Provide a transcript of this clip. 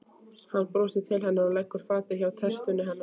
Hann brosir til hennar og leggur fatið hjá tertunni hennar.